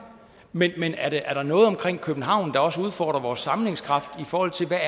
men men er der noget omkring københavn der også udfordrer vores sammenhængskraft i forhold til hvad